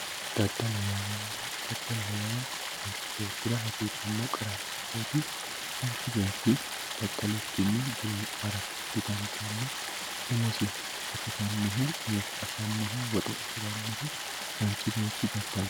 daddaloho yaa manchi beettira hasiisannoho qara hasattooti manchi beetti daddalikkinni dureemmara didandaanno umosi gatisannohu umosi afannohu woxe afirannohu manchi beetti daddale...